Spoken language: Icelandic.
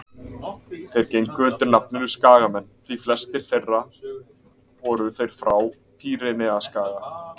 Þeir gengu undir nafninu Skagamenn því flestir voru þeir frá Pýreneaskaga.